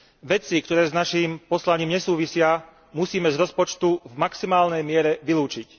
Veci, ktoré s naším poslaním nesúvisia, musíme z rozpočtu v maximálnej miere vylúčiť.